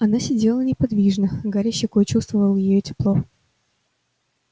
она сидела неподвижно гарри щекой чувствовал её тепло